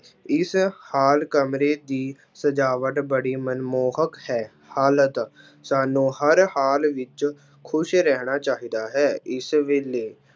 ਇਸ ਹਾਲ ਕਮਰੇ ਦੀ ਸਜਾਵਟ ਬੜੀ ਮਨਮੋਹਕ ਹੈ, ਹਾਲਤ ਸਾਨੂੰ ਹਰ ਹਾਲ ਵਿੱਚ ਖ਼ੁਸ਼ ਰਹਿਣਾ ਚਾਹੀਦਾ ਹੈ l ਇਸ ਵੇਲੇ